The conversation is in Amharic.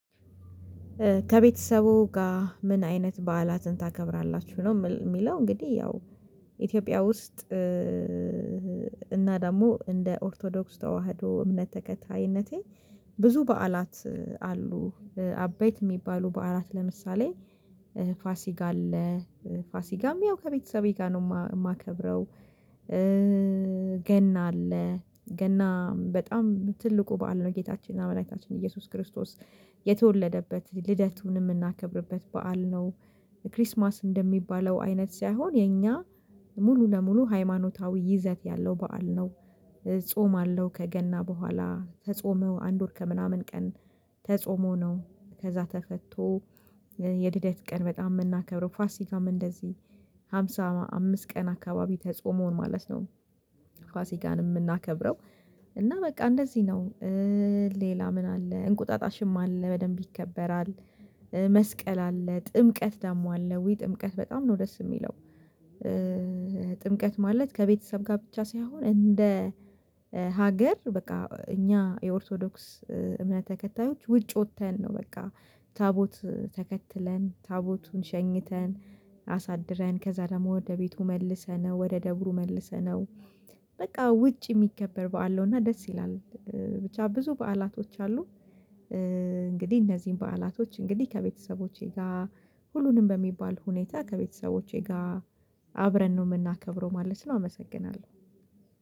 ከቤተሰቡ ጋር? ምን አይነት በዓላትን ታከብራላችሁ ነው የሚለው እንግዲህ ያው ኢትዮጵያ ውስጥ እና ደግሞ እንደ ኦርቶዶክስ ተዋህዶ እምነት ተከታይነቴ ብዙ በዓላት አሉ አበይት የሚባሉ በዓላት ለምሳሌ ፋሲካ አለ ፋሲካም ያው ከቤተሰቤ ጋር ነው የማከብረው። ገና አለ ገና በጣም ትልቁ በዓል ነው ጌታችን መዳኒታችን ኢየሱስ ክርስቶስ የተወለደበት ልደቱን የምናከብርበት በዓል ነው። ክሪስማስ እንደሚባለው አይነት ሳይሆን የኛ ሙሉ ለሙሉ ሃይማኖታዊ ይዘት ያለው በዓል ነው። ጾም አለው ከገና በኋላ ተጾሞ አንድ ወር ከምናምን ቀን ተጾሞ ነው። ከዛ ተፈቶ። የልደት ቀን በጣም የምናከብረው ፋሲካም እንደዚህ ሃምሳ አምስት ቀን አካባቢ ተጾሞ ማለት ነው። ፋሲካን የምናከብረው እና? በቃ እንደዚህ ነው። ሌላ ምን አለ እንቁጣጣሽም አለ በደንብ ይከበራል። መስቀል አለ ጥምቀት ደግሞ አለ ውይ ጥምቀት በጣም ነው ደስ የሚለው። ጥምቀት ማለት ከቤተሰብ ጋር ብቻ ሳይሆን እንደ ሀገር በቃ እኛ የኦርቶዶክስ እምነት ተከታዮች ውጭ ወጥተን ነው በቃ ታቦት ተከትለን ታቦቱን ሸኝተን አሳድረን ከዛ ደግሞ ወደ ቤቱ መልሰነው ወደ ደብሩ መልሰነው በቃ ውጭ የሚከበር በዓል ነው እና ደስ ይላል። ብቻ ብዙ በዓላቶች አሉ። እንግዲህ እነዚህን በዓላቶች እንግዲህ ከቤተሰቦቼ ጋር ሁሉንም በሚባል ሁኔታ ከቤተሰቦቼ ጋር አብረን ነው የምናከብረው ማለት ነው። አመሰግናለሁ።